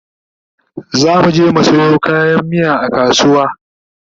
zamuje mu Sayo kayan miya a kasuwa